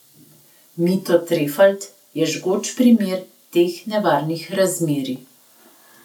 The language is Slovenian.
Mito Trefalt je žgoč primer teh nevarnih razmerij.